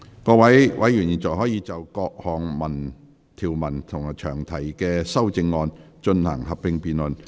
各位委員現在可以就各項條文及詳題的修正案，進行合併辯論。